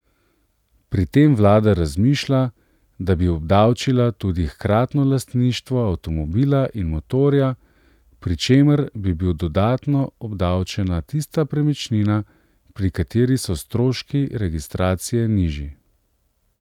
Pri tem vlada razmišlja, da bi obdavčila tudi hkratno lastništvo avtomobila in motorja, pri čemer bi bil dodatno obdavčena tista premičnina, pri kateri so stroški registracije nižji.